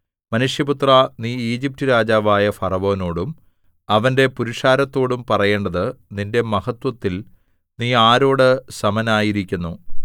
മനുഷ്യപുത്രാ നീ ഈജിപ്റ്റ് രാജാവായ ഫറവോനോടും അവന്റെ പുരുഷാരത്തോടും പറയേണ്ടത് നിന്റെ മഹത്ത്വത്തിൽ നീ ആരോട് സമനായിരിക്കുന്നു